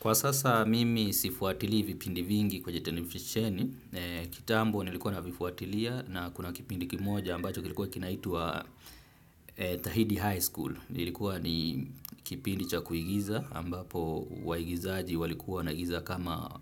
Kwa sasa mimi sifuatili vipindi vingi kwenye televisheni, kitambo nilikuwa navifuatilia na kuna kipindi kimoja ambacho kilikuwa kinaitwa Tahidi High School. Lilikuwa ni kipindi cha kuigiza ambapo waigizaji walikuwa wanaigiza kama